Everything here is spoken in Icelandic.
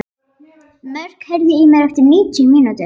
Mörk, heyrðu í mér eftir níutíu mínútur.